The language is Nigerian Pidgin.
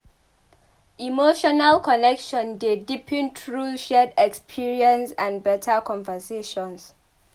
Emotional connection dey deepen through shared experiences and better conversations.